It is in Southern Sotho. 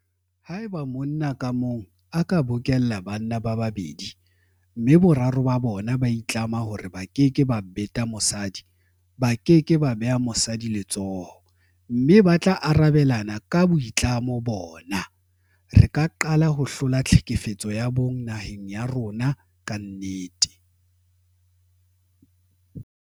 Haeba monna ka mong a ka bokella banna ba babedi mme boraro ba bona ba itlama hore ba keke ba beta mosadi, ba ke ke ba beha mosadi letsoho mme ba tla arabelana ka boitlamo bona, re ka qala ho hlola tlhekefetso ya bong naheng ya rona ka nnete.